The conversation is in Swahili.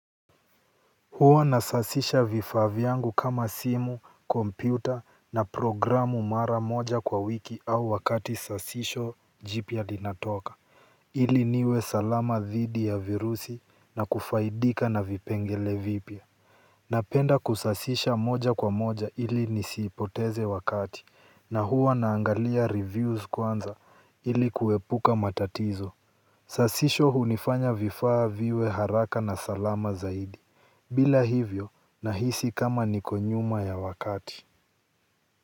Huwa nasasisha vifaa vyangu kama simu, kompyuta na programu mara moja kwa wiki au wakati sasisho jipya linatoka, ili niwe salama dhidi ya virusi na kufaidika na vipengele vipya. Napenda kusasisha moja kwa moja ili nisipoteze wakati na huwa naangalia reviews kwanza ili kuepuka matatizo. Sasisho hunifanya vifaa viwe haraka na salama zaidi. Bila hivyo nahisi kama niko nyuma ya wakati.